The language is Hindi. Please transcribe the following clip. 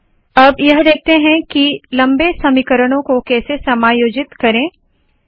अब यह देखते है की लंबे समीकरणों को कैसे समायोजित करे यह देखते है